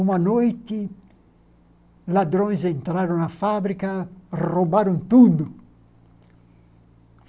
Uma noite, ladrões entraram na fábrica, roubaram tudo.